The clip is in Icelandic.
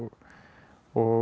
og